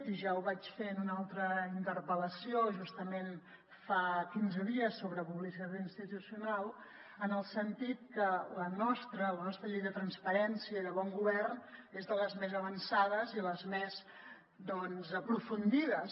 i ja ho vaig fer en una altra interpel·lació justament fa quinze dies sobre publicitat institucional en el sentit que la nostra llei de transparència i de bon govern és de les més avançades i les més aprofundides